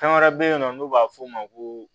Fɛn wɛrɛ bɛ yen nɔ n'o b'a f'o ma ko